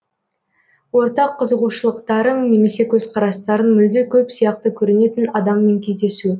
ортақ қызығушылықтарың немесе көзқарастарың мүлде көп сияқты көрінетін адаммен кездесу